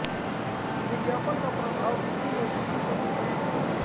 विज्ञापन का प्रभाव बिक्री में वृद्धि पर कितना हुआ